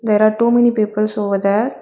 There are too many peoples over there.